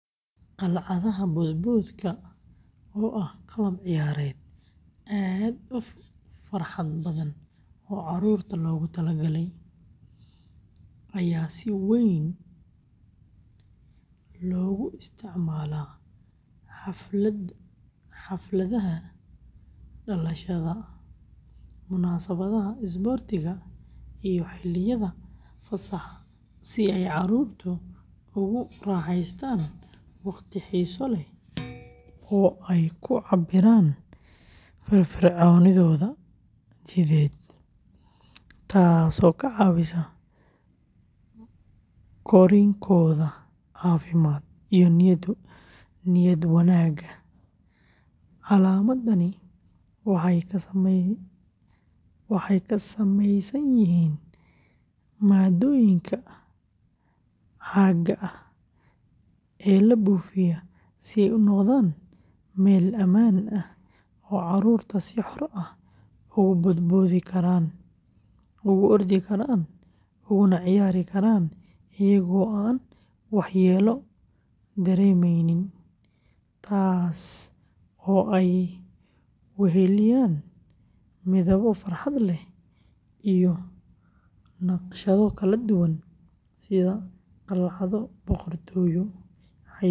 Qalcadaha boodboodka, oo ah qalab ciyaareed aad u farxad badan oo carruurta loogu talagalay, ayaa si weyn loogu isticmaalaa xafladaha dhalashada, munaasabadaha isboortiga, iyo xilliyada fasaxa si ay carruurtu ugu raaxaystaan waqti xiiso leh oo ay ku cabbiraan firfircoonidooda jidheed, taasoo ka caawisa korriinkooda caafimaad iyo niyad wanaagga; qalcadahani waxay ka samaysan yihiin maaddooyinka caagga ah ee la buufiyo si ay u noqdaan meel ammaan ah oo carruurtu si xor ah ugu boodboodi karaan, ugu ordi karaan, uguna ciyaari karaan iyaga oo aan waxyeello dareemaynin, taas oo ay weheliyaan midabbo farxad leh iyo naqshado kala duwan sida qalcado boqortooyo, xayawaano qurux badan.